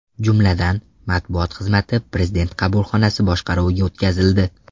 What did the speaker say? Jumladan, matbuot xizmati Prezident qabulxonasi boshqaruviga o‘tkazildi.